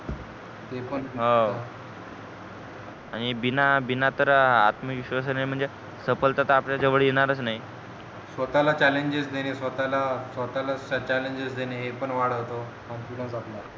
हाव आणि बिना बिना तर आत्मविश्वासानं म्हणजे सफलता तर आपल्या जवळ येणारच नाही स्वतः ला challenges देणे स्वतः ला challenges देणे हे पण वाढवतो confidence आपला